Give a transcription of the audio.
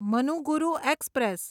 Manuguru express